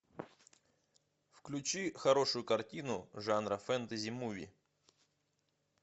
включи хорошую картину жанра фентази муви